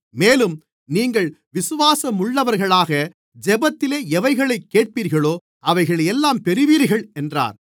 மேலும் நீங்கள் விசுவாசமுள்ளவர்களாக ஜெபத்திலே எவைகளைக் கேட்பீர்களோ அவைகளையெல்லாம் பெறுவீர்கள் என்றார்